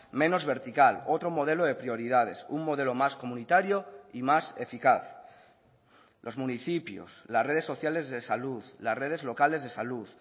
menos vertical otro modelo de prioridades un modelo más comunitario y más eficaz los municipios las redes sociales de salud las redes locales de salud